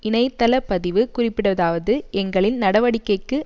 இணைத்தள பதிவு குறிப்பிடுவதாவது எங்களின் நடவடிக்கைக்கு